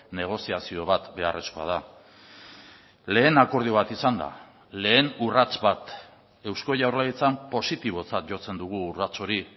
negoziazio bat beharrezkoa da lehen akordio bat izan da lehen urrats bat eusko jaurlaritzan positibotzat jotzen dugu urrats hori